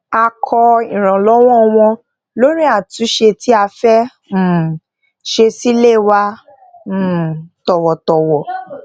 a ko iranlowo won lori atunse ti a fe um se si ile wa um towotowo